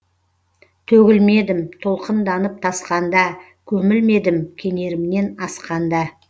төгілмедім толқынданып тасқанда көмілмедім кенерімнен асқанда